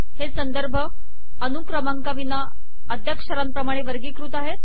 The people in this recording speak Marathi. हे संदर्भ अनुक्रमंकाविना अध्याक्षरांप्रमाणे वर्गीकृत आहेत